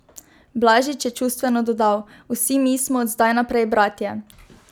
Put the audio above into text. Blažič je čustveno dodal: "Vsi mi smo od zdaj naprej bratje.